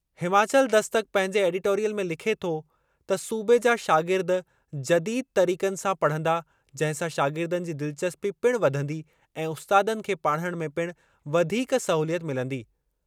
हिमाचल दस्तक पंहिंजे एडिटॉरियल में लिखे थो त सूबे जा शागिर्द जदीद तरीक़नि सां पढ़ंदा जंहिं सां शागिर्दनि जी दिलचस्पी पिणु वधंदी ऐं उस्तादनि खे पाढ़णु में पिणु वधीक सहूलियत मिलंदी।